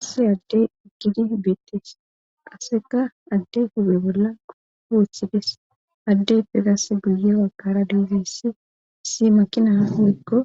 asse addey iggidi beettes aseka addey huphe bolla houthides addeype gasse guye waggara diigeyssi si makina hoyykko